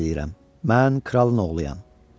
Mən kralın oğluyam.